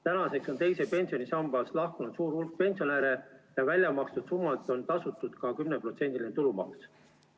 Tänaseks on teisest pensionisambast lahkunud suur hulk pensionäre ja väljamakstud summalt on tasutud ka 10%‑line tulumaks.